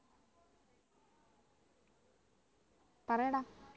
പറയടാ